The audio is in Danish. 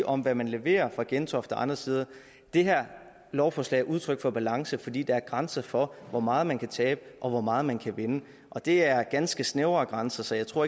om hvad man leverer fra gentofte og andre steder det her lovforslag er udtryk for balance fordi der er grænser for hvor meget man kan tabe og hvor meget man kan vinde og det er ganske snævre grænser så jeg tror